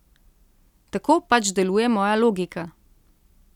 Tako pač deluje moja logika.